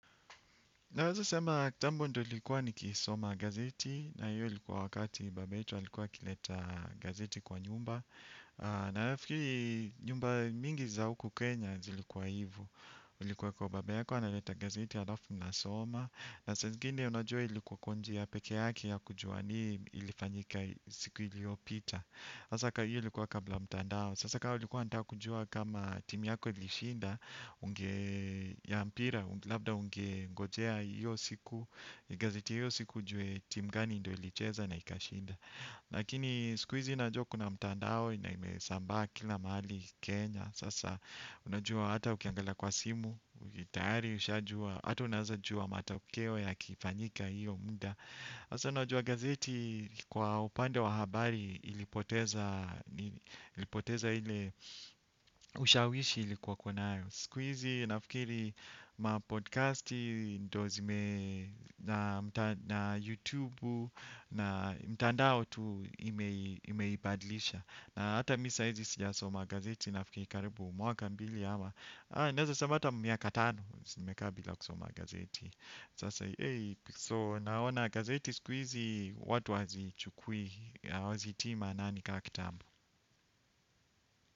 Nawezo sema kitambo ndio nilikuwa nikisoma gazeti na hiyo ilikuwa wakati baba yetu alikuwa akileta gazeti kwa nyumba. Na nafikiri nyumba mingi za huku Kenya zilikuwa hivo. Ilikuwa kuwa baba yako analeta gazeti alafu mnasoma. Na saa zingine unajua ilikuwa kwa njia pekeyake ya kujua nini ilifanyika siku iliyopita. Sasa hiyo ilikuwa kabla ya mtandao. Sasa kama ulikuwa unataka kujua kama timu yako ilishinda. Unge ya mpira, labda ungengojea hiyo siku. Gazeti ya hiyo siku ujue timu gani ndio ilicheza na ikashinda. Lakini sikuhizi najua kuna mtandao na imesambaa kila mahali Kenya sasa unajua hata ukiangalia kwa simu tayari, ushajua hata unawezajua matakeo yakifanyika hiyo muda. Sasa najua gazeti kwa upande wa habari ilipoteza ushawishi uliokuwa nayo. Sikuhizi, nafikiri mapodcasti, ndio na YouTube na mtandao tu imeibadlisha. Na hata mimi sahizi sijasoma gazeti, nafikiri karibu mwaka mbili ama. Naweza sema hata miaka tano, nimekaa bila kusoma gazeti. So naona gazeti sikuhizi watu hawazichukui, hawazitii maanani kama kitambo.